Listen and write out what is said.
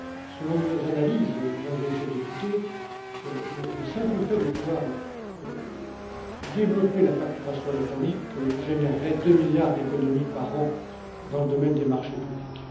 Selon nos analyses, Mesdames et Messieurs les députés, le simple fait de pouvoir développer la facturation électronique générerait 2 milliards d'économies par an dans le domaine des marchés publics.